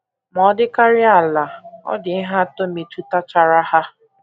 Ma ọ dịkarịa ala, ọ dị ihe atọ metụtachara ha.